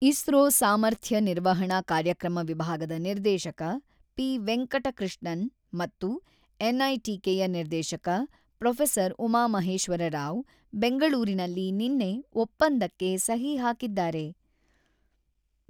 ಇಸ್ರೋ ಸಾಮರ್ಥ್ಯ ನಿರ್ವಹಣಾ ಕಾರ್ಯಕ್ರಮ ವಿಭಾಗದ ನಿರ್ದೇಶಕ ಪಿ.ವೆಂಕಟಕೃಷ್ಣನ್ ಮತ್ತು ಎನ್‌ಐಟಿಕೆಯ ನಿರ್ದೇಶಕ ಪ್ರೊಫೆಸರ್ ಉಮಾಮಹೇಶ್ವರರಾವ್, ಬೆಂಗಳೂರಿನಲ್ಲಿ ನಿನ್ನೆ ಒಪ್ಪಂದಕ್ಕೆ ಸಹಿ ಹಾಕಿದ್ದಾರೆ.